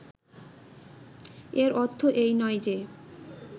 এর অর্থ এই নয় যে